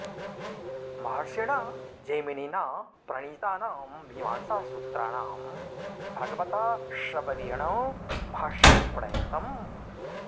महर्षिणा जैमिनिना प्रणीतानां मीमांसासूत्राणां भगवता शबरेण भाष्यं प्रणीतम्